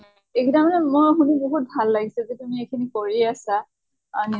এইগিতা মানে মই শুনি বহুত ভাল লাগিছে যে তুমি এইখিনি কৰি আছা আহ